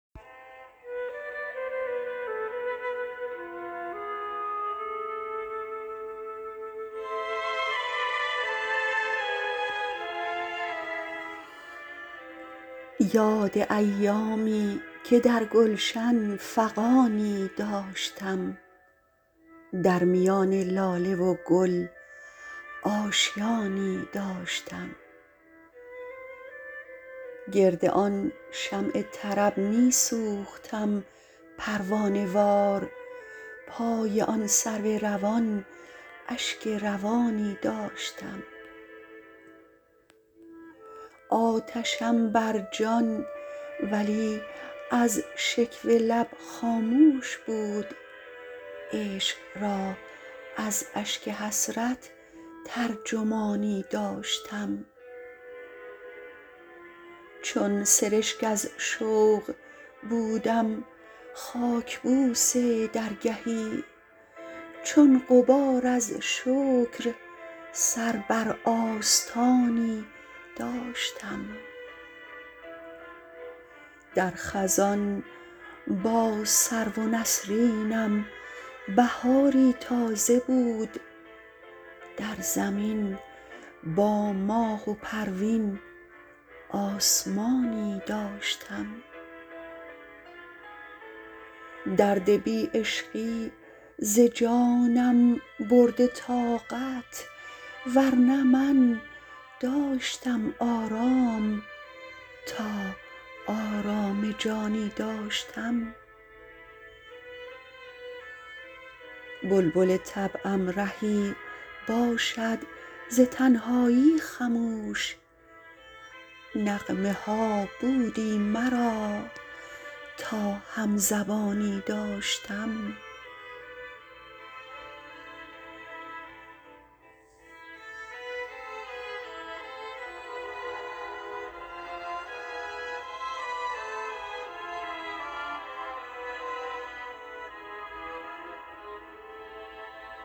یاد ایامی که در گلشن فغانی داشتم در میان لاله و گل آشیانی داشتم گرد آن شمع طرب می سوختم پروانه وار پای آن سرو روان اشک روانی داشتم آتشم بر جان ولی از شکوه لب خاموش بود عشق را از اشک حسرت ترجمانی داشتم چون سرشک از شوق بودم خاک بوس درگهی چون غبار از شکر سر بر آستانی داشتم در خزان با سرو و نسرینم بهاری تازه بود در زمین با ماه و پروین آسمانی داشتم درد بی عشقی ز جانم برده طاقت ورنه من داشتم آرام تا آرام جانی داشتم بلبل طبعم رهی باشد ز تنهایی خموش نغمه ها بودی مرا تا هم زبانی داشتم